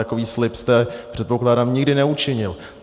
Takový slib jste, předpokládám, nikdy neučinil.